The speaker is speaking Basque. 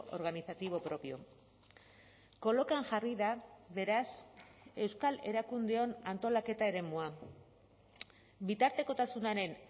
organizativo propio kolokan jarri da beraz euskal erakundeon antolaketa eremua bitartekotasunaren